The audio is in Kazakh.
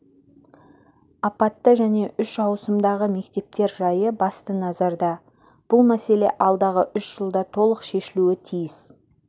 апатты және үш ауысымдағы мектептер жайы басты назарда бұл мәселе алдағы үш жылда толық шешілуі тиіс